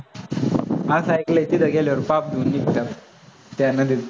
असं ऐकलंय तिथं गेल्यावर पाप धुवून निघतात त्या नदीत